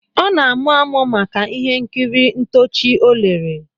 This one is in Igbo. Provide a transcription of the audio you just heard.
Ọ na-amuamu maka ihe nkiri ntoochi ọ lere